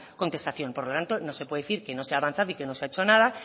contestación por lo tanto no se puede decir que no se ha avanzado y que no se ha hecho nada